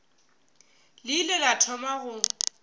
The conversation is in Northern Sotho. le ile la thoma go